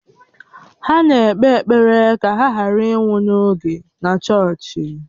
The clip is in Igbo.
Ha na-ekpe ekpere ka ha ghara ịnwụ n'oge na chọọchị.